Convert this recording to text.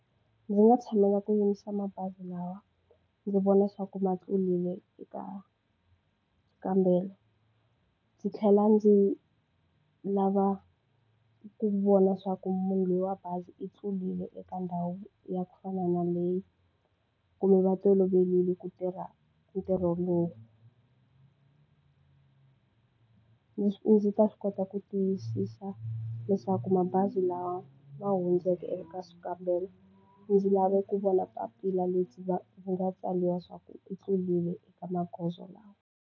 Ndzi nga tshamela ku yimisa mabazi lawa ndzi vona xa ku ma tlurile eka nkambelo. Ndzi tlhela ndzi lava ku vona swa ku munhu loyi wa bazi i tlurile eka ndhawu ya ku fana na leyi, kumbe va toloverile ku tirha ntirho lowu. Leswi ndzi ta swi kota ku tiyisisa leswaku mabazi lawa ma hundzeke eka swikambelo, ndzi lava ku vona papila leri va va nga tsariwa leswaku u tlurile eka magondzo lawa.